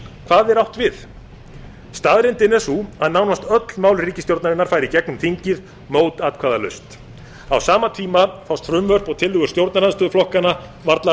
hvað er átt við staðreyndin er sú að nánast öll mál ríkisstjórnarinnar fara í gegnum þingið mótatkvæðalaust á sama tíma fást frumvörp og tillögur stjórnarandstöðuflokkanna varla